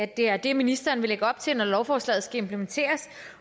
det er det ministeren vil lægge op til når lovforslaget skal implementeres